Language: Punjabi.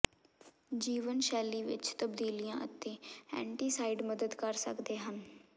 ਜੀਵਨਸ਼ੈਲੀ ਵਿਚ ਤਬਦੀਲੀਆਂ ਅਤੇ ਐਂਟੀਸਾਈਡ ਮਦਦ ਕਰ ਸਕਦੇ ਹਨ